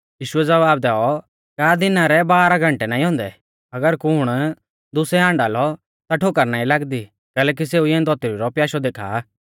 यीशुऐ ज़वाब दैऔ का दिना रै बारह घंटै नाईं औन्दै अगर कुण दुसै हाण्डा लौ ता ठोकर नाईं लागदी कैलैकि सेऊ इऐं धौतरी रौ प्याशौ देखा आ